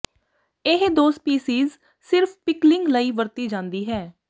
ਇਹ ਦੋ ਸਪੀਸੀਜ਼ ਸਿਰਫ ਪਿਕਲਿੰਗ ਲਈ ਵਰਤੀ ਜਾਂਦੀ ਹੈ